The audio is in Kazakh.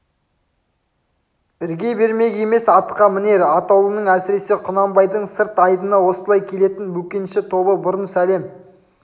ірге бермек емес атқа мінер атаулының әсіресе құнанбайдың сырт айдыны осылай келетін бөкенші тобы бұрын сәлем